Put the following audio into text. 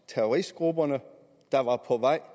terroristgrupperne der var på vej